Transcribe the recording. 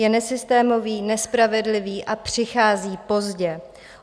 Je nesystémový, nespravedlivý a přichází pozdě.